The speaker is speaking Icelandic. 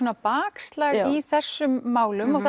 bakslag í þessum málum og